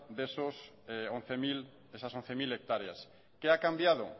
de esas once mil hectáreas que ha cambiado